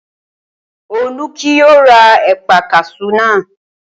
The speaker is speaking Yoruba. Olú kì yóò ra ẹ̀paa kaṣú náà